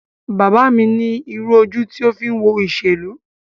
Bàbá mi ní irú ojú ti o fi ń wo ìṣèlú.